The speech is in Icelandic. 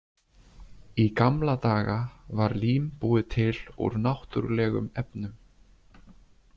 Í gamla daga var lím búið til úr náttúrulegum efnum.